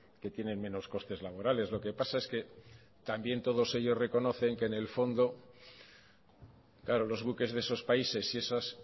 que tienen menos costes laborales lo que pasa es que también todos ellos reconocen que en el fondo claro los buques de esos países y esos